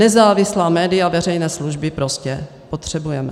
Nezávislá média veřejné služby prostě potřebujeme.